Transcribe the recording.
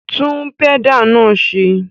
Tún pẹ́dà náà ṣe!